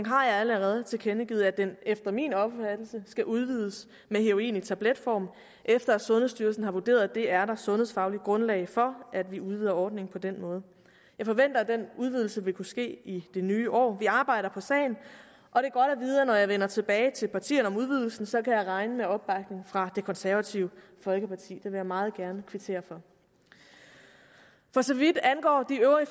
har jeg allerede tilkendegivet at den efter min opfattelse skal udvides med heroin i tabletform efter at sundhedsstyrelsen har vurderet at der er sundhedsfagligt grundlag for at vi udvider ordningen på den måde jeg forventer at den udvidelse vil kunne ske i det nye år vi arbejder på sagen og jeg vender tilbage til partierne om udvidelsen så kan jeg regne med opbakning fra det konservative folkeparti vil jeg meget gerne kvittere for for så vidt angår de øvrige